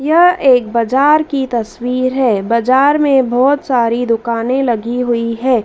यह एक बाजार की तस्वीर है बाजार में बहुत सारी दुकानें लगी हुई है।